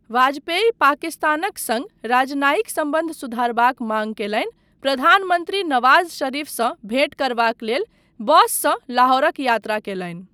वाजपेयी पाकिस्तानक सङ्ग राजनायिक सम्बन्ध सुधारबाक माँग कयलनि, प्रधान मन्त्री नवाज शरीफसँ भेंट करबाक लेल बससँ लाहौरक यात्रा कयलनि।